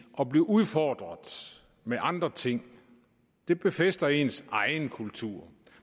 at blive udfordret med andre ting det befæster ens egen kultur